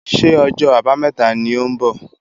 Ṣé ọjọ́ àbámẹ́ta ni ò ń bọ̀?